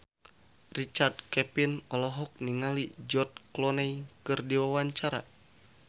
Richard Kevin olohok ningali George Clooney keur diwawancara